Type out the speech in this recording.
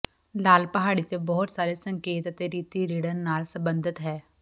ਲਾਲ ਪਹਾੜੀ ਤੇ ਬਹੁਤ ਸਾਰੇ ਸੰਕੇਤ ਅਤੇ ਰੀਤੀ ਰਿੜ੍ਹਨ ਨਾਲ ਸੰਬੰਧਤ ਹੈ